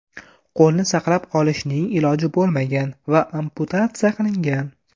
Qo‘lni saqlab qolishning iloji bo‘lmagan va amputatsiya qilingan.